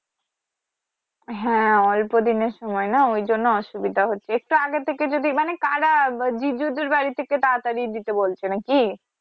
হ্যা অল্পদিনের সময় না ওই জন্য অসুবিধা হচ্ছে একটু আগে থেকেই যদি মানে কারা জিজুদের বাড়ি থেকে তারাতারি দিতে বলছে নাকি?